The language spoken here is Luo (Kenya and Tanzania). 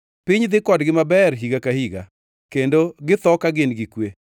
Piny dhi kodgi maber higa ka higa, kendo githo ka gin gi kwe.